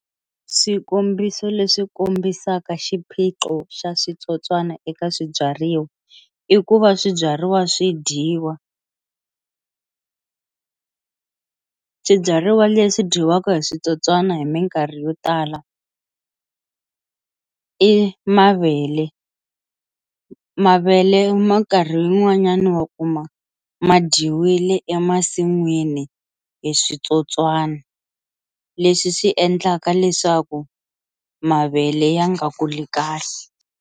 Swikombiso leswi kombisaka xiphiqo xa switsotswana eka swibyariwa i ku va swibyariwa swi dyiwa, swibyariwa leswi dyiwaka hi switsotswana hi minkarhi yo tala i mavele mavele mi karhi yin'wanyana wa kuma ma dyiwile emasin'wini hi switsotswana leswi swi endlaka leswaku mavele ya nga kuli kahle.